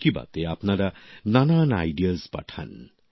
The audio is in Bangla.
মন কি বাত এ আপনারা নানান ভাবনা পাঠান